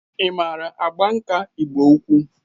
Ị maara agba nkà Ịgbo-ukwu?